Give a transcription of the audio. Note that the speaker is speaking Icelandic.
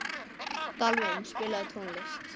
Dalvin, spilaðu tónlist.